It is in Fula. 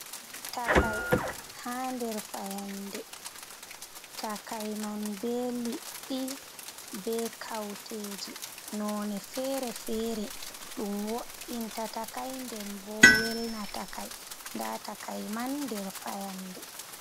Takai, ha nder fayande, takai be liɗɗi be kauteeji nonne fere-fere, ɗum wo’inta takai nden boo welna takai nda takai man der fayande